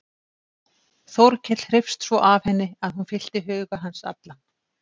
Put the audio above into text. Þórkell hreifst svo af henni að hún fyllti huga hans allan.